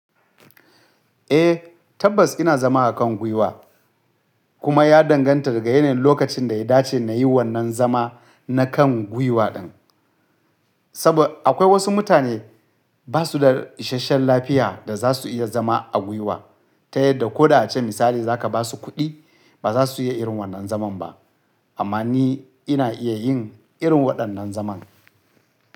Eh tabbas ina zama a kan gwiwa kuma ya danganta daga yanayin lokacin da ya dace na yi wannan zama na kan gwiwa ɗin. Saboda akwai wasu mutane ba su da isasshen lafiya da za su iya zama a gwiwa ta yadda ko da ace misali za ka ba su kuɗi ba za su iya irin wannan zaman ba. Amma ni ina iya yin irin waɗannan zaman.